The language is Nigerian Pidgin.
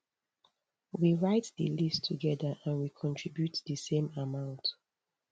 we write di list togeda and we contribute di same amount